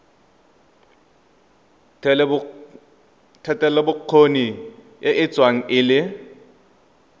thetelelobokgoni e tsewa e le